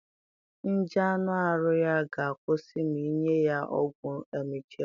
Nje aṅụ arụ ya ga akwusi ma inye ya ọgwụ emgyl